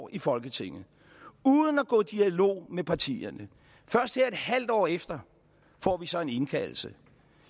i folketinget og uden at gå i dialog med partierne først her et halvt år efter får vi så en indkaldelse